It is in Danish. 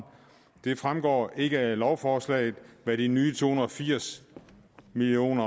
det fremgår ikke af lovforslaget hvad de nye to hundrede og firs million